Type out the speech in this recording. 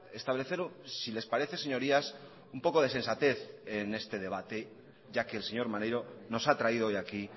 establecer si les parece señorías un poco de sensatez en este debate ya que el señor maneiro nos ha traído hoy aquí